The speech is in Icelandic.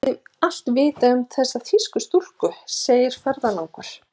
Var ekki allt vitað um þessar þýsku stúlkur, segir ferðalangur.